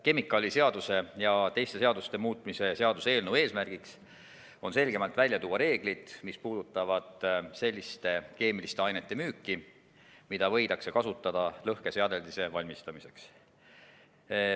Kemikaaliseaduse ja teiste seaduste muutmise seaduse eelnõu eesmärk on selgemalt välja tuua reeglid, mis puudutavad selliste keemiliste ainete müüki, mida võidakse kasutada lõhkeseadeldise valmistamiseks.